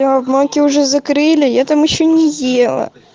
о в мойке уже закрыли я там ещё не ела